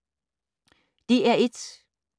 DR1